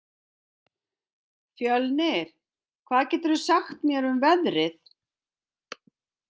Fjölnir, hvað geturðu sagt mér um veðrið?